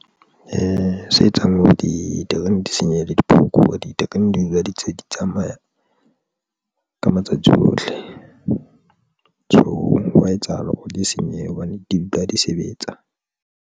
E se etsang hore diterene di senyehe le di diterene di dula di ntse di tsamaya ka matsatsi ohle tjhong wa etsahala, hore di senyehe hobane di dula di sebetsa.